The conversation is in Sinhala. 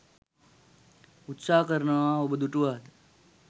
උත්සාහ කරනවා ඔබ දුටුවාද?